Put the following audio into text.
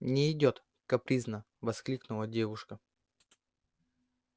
не идёт капризно воскликнула девушка